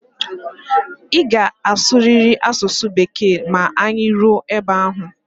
Ị ga-asụrịrị asụsụ Bekee ma anyị ruo ebe ahụ!